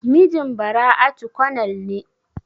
Mijin Bara'atu konel ne?